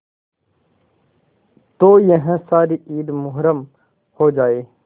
तो यह सारी ईद मुहर्रम हो जाए